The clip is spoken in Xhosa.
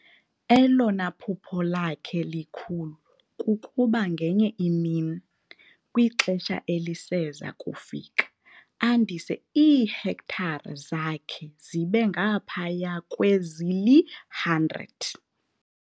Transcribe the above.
Elona phupha lakhe likhulu kukuba ngenye imini, kwixesha eliseza kufika, andise iihektare zakhe zibe ngaphaya kwezili-100.